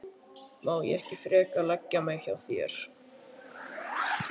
Má ég ekki frekar leggja mig hjá þér?